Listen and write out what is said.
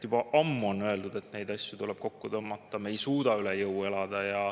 Juba ammu on öeldud, et neid asju tuleb kokku tõmmata, me ei suuda üle jõu elada.